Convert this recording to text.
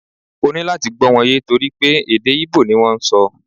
O nira láti gbó̩ wọn ye tori pe èdè íbò ni wọn n sọ